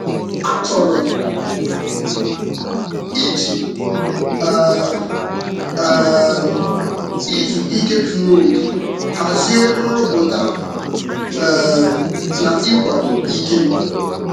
A chọrọ iji um um izu ike zuru oke hazie nrụpụta um na ịkwado ike m.